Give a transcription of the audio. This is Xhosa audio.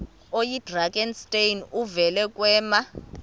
oyidrakenstein uvele kwema